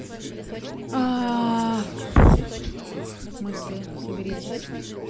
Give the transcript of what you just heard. аа мысли соберитесь